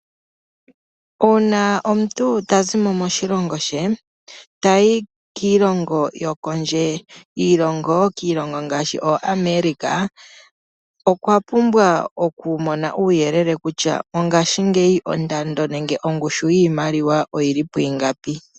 Uuna omuntu tazi mo moshilongo she tayi kiilongo yokondje kiilongo yokondje ngaashi ooAmerika , okwa pumbwa okumona uuyelele kutya mongashingeyi ondando nenge ongushu yiimaliwa oyili pwiingapi.